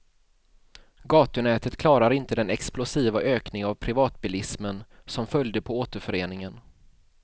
Gatunätet klarar inte den explosiva ökning av privatbilismen som följde på återföreningen.